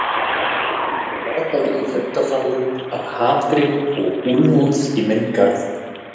Það brakaði í fundarsalnum af hatri og úlfúð í minn garð.